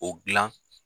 O dilan